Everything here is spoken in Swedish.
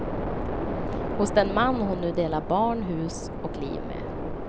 Hos den man hon nu delar barn, hus och liv med.